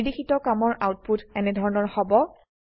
নিৰ্দেশিত কামৰ আউটপুট এনেধৰনৰ হব